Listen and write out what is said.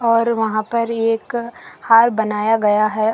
और वहां पर एक हार बनाया गया है।